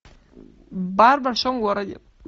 бар в большом городе